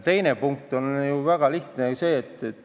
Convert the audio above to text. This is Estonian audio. Teine punkt on väga lihtne.